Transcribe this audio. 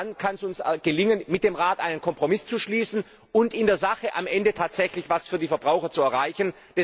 Nur dann kann es uns gelingen, mit dem Rat einen Kompromiss zu schließen und in der Sache am Ende tatsächlich etwas für die Verbraucher zu erreichen.